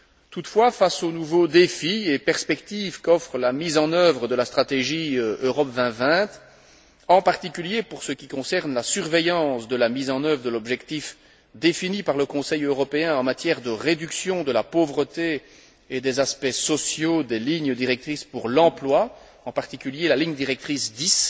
Toutefois, face aux nouveaux défis et perspectives qu'offre la mise en œuvre de la stratégie Europe 2020, en particulier en ce qui concerne la surveillance de la mise en œuvre de l'objectif défini par le Conseil européen en matière de réduction de la pauvreté et des aspects sociaux des lignes directrices pour l'emploi, en particulier la ligne directrice 10,